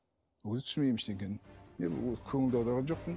ол кезде түсінбеймін ештеңені көңіл де аударған жоқпын